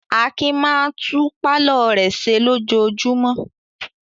Akin máa tún pálọ̀ rẹ̀ ṣe lójoojúmọ́.